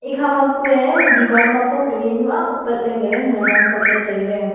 ekha ma kue diwaar ma photo yao nu ag apatley ley ngan ang kapley tailey.